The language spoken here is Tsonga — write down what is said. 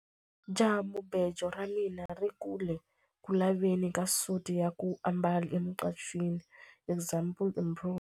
Jahamubejo ra mina ri ku le ku laveni ka suti ya ku ambala emucashweni example improved.